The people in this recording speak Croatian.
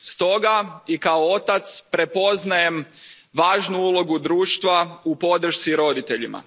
Stoga, i kao otac, prepoznajem važnu ulogu društva u podršci roditeljima.